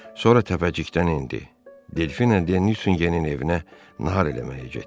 Sonra təpəcikdən endi, Delfina de Nüsingenin evinə nahar eləməyə getdi.